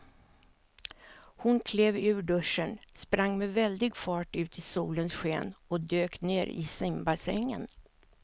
Hon klev ur duschen, sprang med väldig fart ut i solens sken och dök ner i simbassängen.